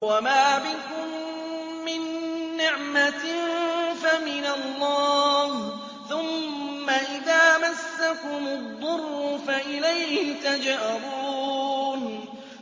وَمَا بِكُم مِّن نِّعْمَةٍ فَمِنَ اللَّهِ ۖ ثُمَّ إِذَا مَسَّكُمُ الضُّرُّ فَإِلَيْهِ تَجْأَرُونَ